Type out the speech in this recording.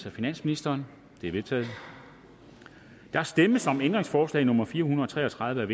af finansministeren de er vedtaget der stemmes om ændringsforslag nummer fire hundrede og tre og tredive af